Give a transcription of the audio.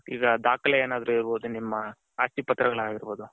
ಈಗ ದಾಖಲೆ ಏನಾದ್ರು ಇರ್ಬೋದು ನಿಮ್ಮ ಅಸ್ತಿ ಪತ್ರಗಳು ಆಗಿರ್ಬೌದು.